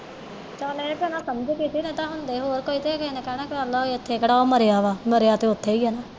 ਹਾਂ ਭੈਣਾਂ ਮੈ ਤੇ ਸਮਝ ਗਈ ਇਹ ਹੁੰਦੇ ਕੋਈ ਹੋਰ ਆ ਤੇ ਕਿਹੇ ਨੇ ਇਥੇ ਕਿਹੜਾ ਮਰਿਆ ਵਾ ਮਰਿਆ ਤੇ ਉਥੇ ਹੀ ਆ